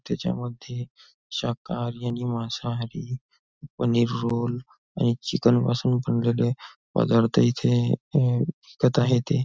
त्याच्यामध्ये शाकाहारी आणि मांसाहारी पनीर रोल आणि चिकन पासून बनलेले पदार्थ इथे अह विकत आहे ते.